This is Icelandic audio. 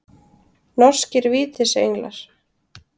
Norskir Vítisenglar.